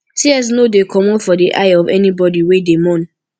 tears no dey comot for di eye of anybodi wey dey mourn